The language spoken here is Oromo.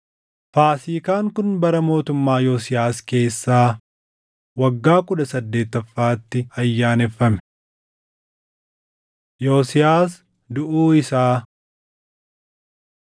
Faasiikaan kun bara mootummaa Yosiyaas keessaa waggaa kudha saddeettaffaatti ayyaaneffame. Yosiyaas Duʼuu Isaa 35:20–36:1 kwf – 2Mt 23:28‑30